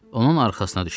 Onun arxasına düşdüm.